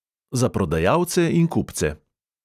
Za prodajalce in kupce.